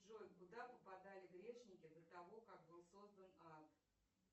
джой куда попадали грешники до того как был создан ад